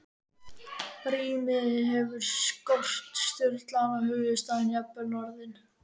Rímið hefur skort, stuðlana, höfuðstafinn, jafnvel orðin.